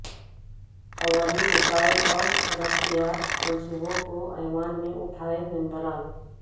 عوامی مسائل اور ترقیاتی منصوبوں کو ایوان میں اٹھائیں ممبران